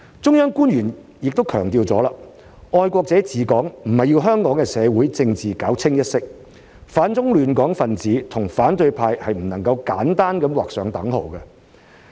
中央官員已強調，"愛國者治港"不是要香港的社會政治搞"清一色"，反中亂港分子和反對派是不能簡單地劃上等號。